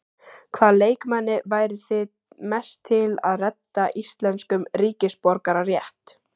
Hvaða leikmanni væru þið mest til að redda íslenskum ríkisborgararétt?